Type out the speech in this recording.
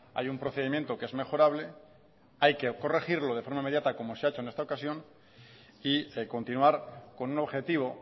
hay un procedimiento que es mejorable hay que corregirlo de forma inmediata como se ha hecho en esta ocasión y continuar con un objetivo